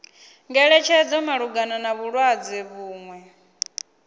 ngeletshedzo malugana na vhulwadze vhuṅwe